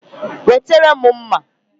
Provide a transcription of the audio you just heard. Wetere m mma!